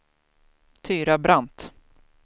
Tyra Brandt